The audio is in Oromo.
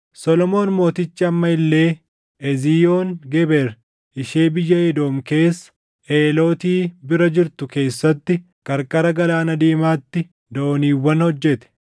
Solomoon mootichi amma illee Eziyoon Geber ishee biyya Edoom keessa, Eelooti bira jirtu keessatti qarqara Galaana Diimaatti dooniiwwan hojjete.